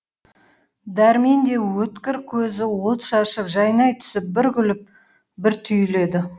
дәрмен де өткір көзі от шашып жайнай түсіп бір күліп бір түйіледі